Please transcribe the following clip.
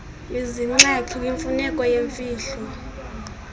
izinxaxhi kwimfuneko yemfihlo